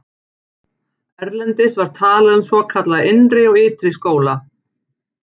Erlendis var talað um svokallaða innri og ytri skóla.